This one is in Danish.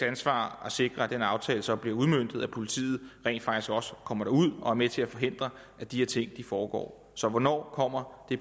ansvar at sikre at den aftale så bliver udmøntet altså at politiet rent faktisk også kommer derud og er med til at forhindre at de her ting foregår så hvornår kommer de